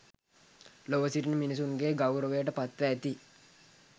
ලොව සිටින මිනිසුන්ගේ ගෞරවයට පත්ව ඇති